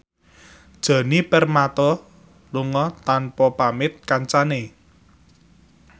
Djoni Permato lunga tanpa pamit kancane